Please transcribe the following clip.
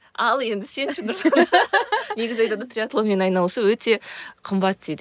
ал енді сен ше негізі айтады ғой триатлонмен айналысу өте қымбат дейді